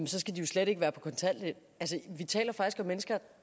så skal de slet ikke være på kontanthjælp vi taler faktisk om mennesker